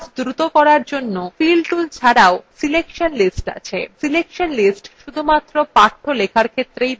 কাজ দ্রুত করার জন্য fill tools ছাড়াও selection lists আছে এটি শুধুমাত্র পাঠ্য লেখার ক্ষেত্রেই ব্যবহার্য